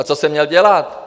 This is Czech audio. A co jsem měl dělat?